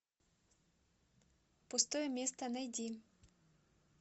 пустое место найди